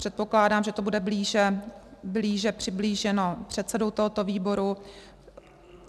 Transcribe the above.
Předpokládám, že to bude více přiblíženo předsedou tohoto výboru.